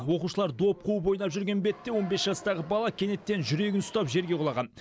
оқушылар доп қуып ойнап жүрген бетте он бес жастағы бала кенеттен жүрегін ұстап жерге құлаған